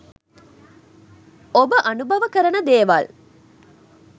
ඔබ අනුභව කරන දේවල්